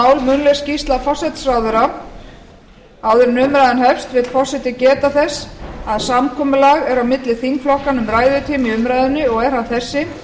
áður en umræðan hefst vill forseti geta þess að samkomulag er á milli þingflokkanna um ræðutíma í umræðunni og er hann þessi